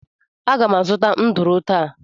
Aga m azụta nduru taa